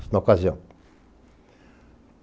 Isso na ocasião.